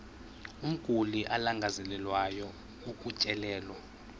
umguli alangazelelayo ukutyelelwa